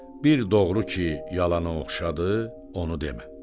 Bir doğru ki, yalanı oxşadı, onu demə.